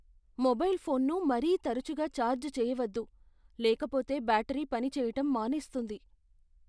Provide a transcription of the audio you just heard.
Mobile ఫోన్ను మరీ తరచుగా ఛార్జ్ చేయవద్దు, లేకపోతే బ్యాటరీ పని చెయ్యటం మానేస్తుంది.